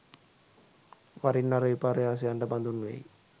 වරින් වර විපර්යාසයන්ට බඳුන් වෙයි